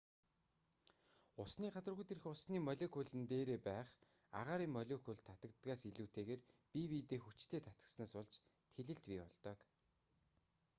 усны гадаргуу дээрх усны молекулууд нь дээрээ байх агаарын молекулд татагддагаас илүүтэйгээр бие биедээ хүчтэй татагдсанаас болж тэлэлт бий болдог